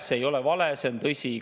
See ei ole vale, see on tõsi.